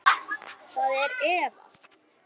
Það er Eva.